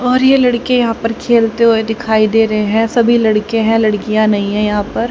और ये लड़के यहां पर खेलते हुए दिखाई दे रहे है सभी लड़के हैं लड़कियां नहीं हैं यहां पर--